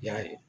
I y'a ye